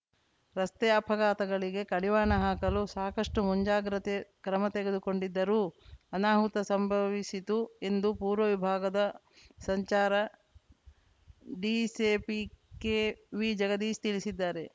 ರಸ್ತೆ ಅಪಘಾತಗಳಿಗೆ ಕಡಿವಾಣ ಹಾಕಲು ಸಾಕಷ್ಟುಮುಂಜಾಗ್ರತೆ ಕ್ರಮ ತೆಗೆದುಕೊಂಡಿದ್ದರೂ ಅನಾಹುತ ಸಂಭವಿಸಿತು ಎಂದು ಪೂರ್ವ ವಿಭಾಗದ ಸಂಚಾರ ಡಿಸೆಪಿ ಕೆವಿಜಗದೀಶ್‌ ತಿಳಿಸಿದ್ದಾರೆ